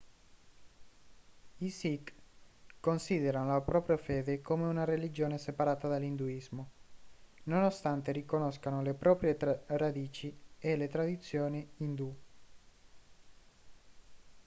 i sikh considerano la propria fede come una religione separata dall'induismo nonostante riconoscano le proprie radici e le tradizioni indù